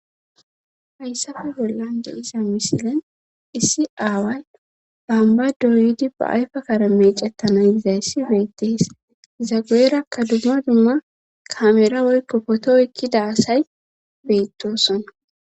Hayssafe bollan de iza misilen issi aaway bambadoyidi ba ayfa karame cettana yizayssi beettees zageerakka dumma dumma kaameera woykko potooykki daasay beettosona